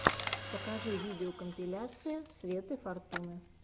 покажи видеокомпиляция светы фортуны